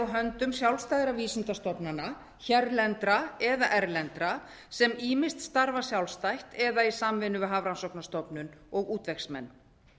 á höndum sjálfstæðra vísindastofnana hérlendra eða erlendra sem ýmist starfa sjálfstætt eða í samvinnu við hafrannsóknastofnun og útvegsmenn